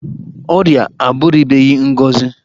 Ọrịa abụrụbeghị ngọzi.